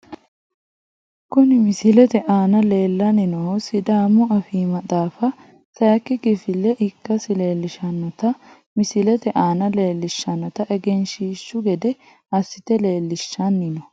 Huni misilete aana leelani noohu sidaamu afii maxaafa sayiki kifileha ikase leelshanota misilete aana leelishanota egenshshiishu gede asite leelishani no.